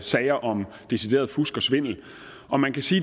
sager om decideret fusk og svindel og man kan sige